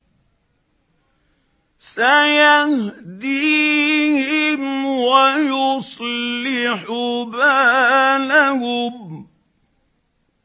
سَيَهْدِيهِمْ وَيُصْلِحُ بَالَهُمْ